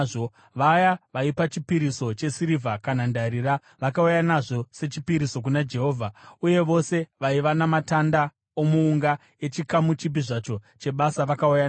Vaya vaipa chipiriso chesirivha kana ndarira vakauya nazvo sechipiriso kuna Jehovha, uye vose vaiva namatanda omuunga echikamu chipi zvacho chebasa vakauya nawo.